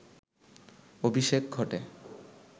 অভিষেক ঘটে